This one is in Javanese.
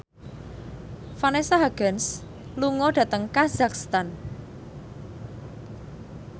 Vanessa Hudgens lunga dhateng kazakhstan